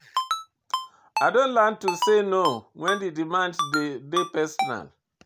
I don learn to say no wen di demand dey personal.